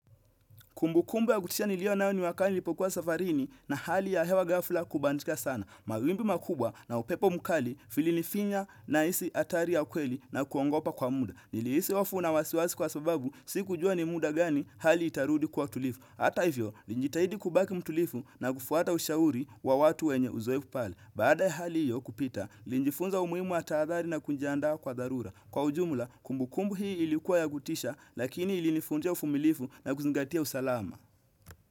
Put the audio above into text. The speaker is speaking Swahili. Kumbu kumbu ya kutisha nilio nao ni wakati nilipokuwa safarini na hali ya hewa ghafla kubadilika sana. Mawimbi makubwa na upepo mkali filinifinya na isi atari ya ukweli na kuongopa kwa muda. Niliisi wafu na wasiwasi kwa sababu, sikujua ni muda gani hali itarudi kuwa tulifu. Ata hivyo, nilijitahidi kubaki mtulifu na kufuata ushauri wa watu wenye uzoefu pale. Baada ya hali hiyo kupita, nilinjifunza umuimu taadhari na kunjiandaa kwa dharura. Kwa ujumla, kumbu kumbu hii ilikuwa ya kutisha lakini ili nifundisha ufumilifu na kuzingatia usalama.